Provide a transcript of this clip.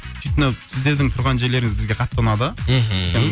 сөйтіп мынау сіздердің тұрған жерлеріңіз бізге қатты ұнады мхм